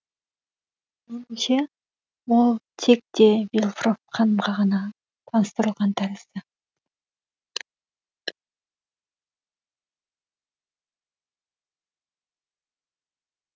меніңше ол тек де вильфор ханымға ғана таныстырылған тәрізді